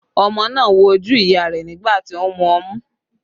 Ọmọ náà wo ojú ìyá rẹ̀ nígbà tí ó ń mú ọmú